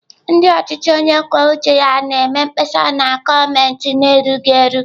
Ndị ọchịchị onye kwuo uche ya na-eme mkpesa na gọọmentị ha erughị eru.